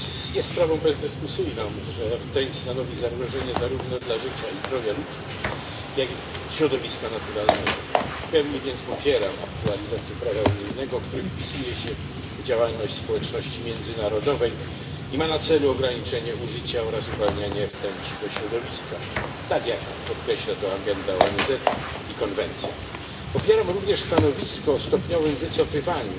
Jest sprawą bezdyskusyjną, że rtęć stanowi zagrożenie zarówno dla życia i zdrowia ludzi, jak i dla środowiska naturalnego. W pełni więc popieram aktualizację prawa unijnego, która wpisuje się w działalność społeczności międzynarodowej i ma na celu ograniczenie użycia oraz uwalniania rtęci do środowiska, tak jak podkreśla to program ONZ i konwencja z Minamaty. Popieram również stanowisko o stopniowym wycofywaniu